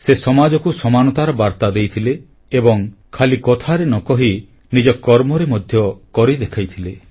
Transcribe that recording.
ସେ ସମାଜକୁ ସମାନତାର ବାର୍ତ୍ତା ଦେଇଥିଲେ ଏବଂ ଖାଲି କଥାରେ ନ କହି ନିଜ କର୍ମରେ ମଧ୍ୟ କରି ଦେଖାଇଥିଲେ